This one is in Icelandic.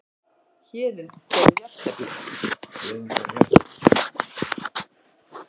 Héðinn gerði jafntefli